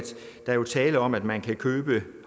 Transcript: tale om at man kan købe